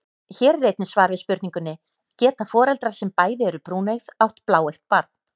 Hér er einnig svar við spurningunni: Geta foreldrar sem bæði eru brúneygð átt bláeygt barn?